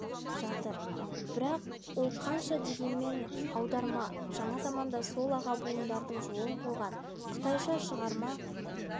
жатыр бірақ ол қанша дегенмен аударма жаңа заманда сол аға буындардың жолын қуған қытайша шығарма